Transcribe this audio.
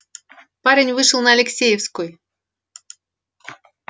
парень вышел на алексеевской